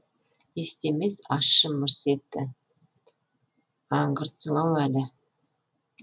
естемес ащы мырс етті аңғыртсың ау әлі